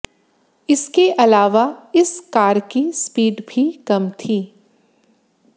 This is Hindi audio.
इसके अलावा इस कार की स्पीड भी कम थी